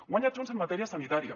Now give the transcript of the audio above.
guanya junts en matèria sanitària